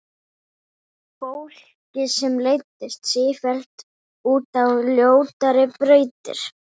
Fólki sem leiddist sífellt út á ljótari brautir.